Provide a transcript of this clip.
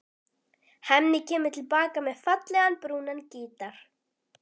Hemmi kemur til baka með fallegan, brúnan gítar.